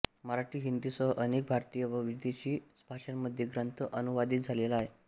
मराठी हिंदीसह अनेक भारतीय व विदेशी भाषांमध्ये ग्रंथ अनुवादित झालेला आहे